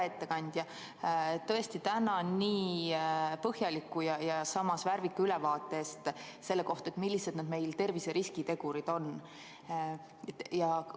Hea ettekandja, tõesti tänan nii põhjaliku ja samas värvika ülevaate eest selle kohta, millised need tervise riskitegurid meil on.